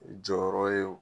Jɔyɔrɔ ye wo.